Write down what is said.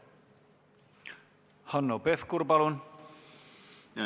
Hanno Pevkur, palun!